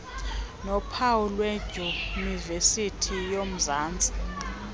nophawu lwedyunivesithi yomzantsi